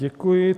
Děkuji.